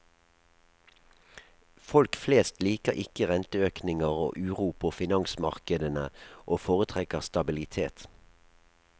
Folk flest liker ikke renteøkninger og uro på finansmarkedene, og foretrekker stabilitet.